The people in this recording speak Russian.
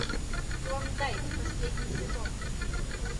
клондайк последний сезон